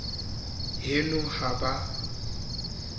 haeno ha ba a ka